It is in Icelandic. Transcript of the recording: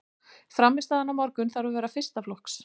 Frammistaðan á morgun þarf að vera fyrsta flokks.